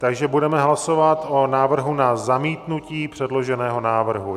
Takže budeme hlasovat o návrhu na zamítnutí předloženého návrhu.